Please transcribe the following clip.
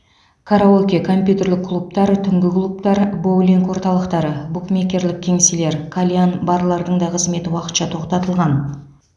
караоке компьютерлік клубтар түнгі клубтар боулинг орталықтары букмекерлік кеңселер кальян барлардың да қызметі уақытша тоқтатылған